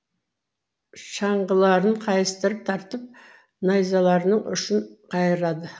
шаңғыларының қайыстарын тартып найзаларының ұшын қайырады